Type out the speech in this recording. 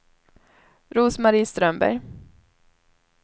Rose-Marie Strömberg